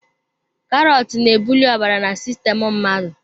Karọt na-ebuli ọbara na sistemu mmadụ.